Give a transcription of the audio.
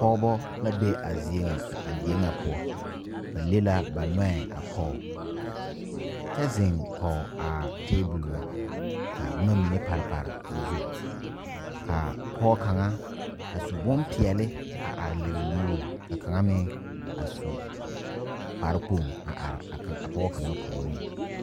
Pɔgeba la be a zie ŋa a die ŋa poɔ ba le la ba nɔɛ a pɔge kyɛ zeŋ kɔge a tabol ŋa ka boma mine pare pare o zu ka pɔge kaŋa a su bonpeɛle a are lere o nuuri ka kaŋa meŋ a su kparekpoŋ a are a pɔge kaŋa puoriŋ.